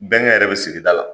Bɛnkɛ yɛrɛ be sigi da la.